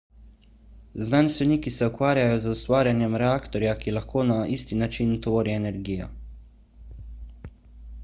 znanstveniki se ukvarjajo z ustvarjanjem reaktorja ki lahko na isti način tvori energijo